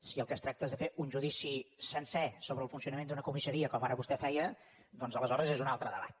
si del que es tracta és de fer un judici sencer sobre el funcionament d’una comissaria com ara vostè feia doncs aleshores és un altre debat